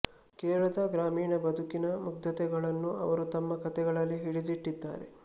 ಕೇರಳದ ಗ್ರಾಮೀಣ ಬದುಕಿನ ಮುಗ್ಧತೆಗಳನ್ನು ಅವರು ತಮ್ಮ ಕತೆಗಳಲ್ಲಿ ಹಿಡಿದಿಟ್ಟಿದ್ದಾರೆ